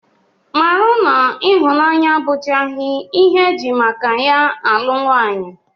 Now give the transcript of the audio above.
Mata na ịhụnanya abụchaghị ihe e ji maka ya alụ nwaanyị